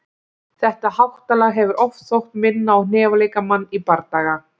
Þetta háttalag hefur oft þótt minna á hnefaleikamann í bardaga.